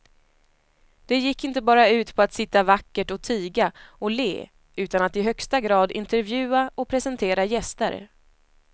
Det gick inte bara ut på att sitta vackert och tiga och le utan att i högsta grad intervjua och presentera gäster.